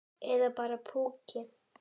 Eða bara púki.